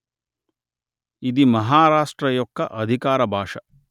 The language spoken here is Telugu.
ఇది మహారాష్ట్ర యొక్క అధికార భాష